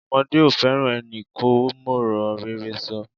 Omodé ò fẹ́ràn enikò mòrò rere so